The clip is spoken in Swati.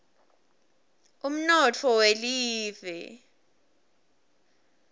umnotfo welive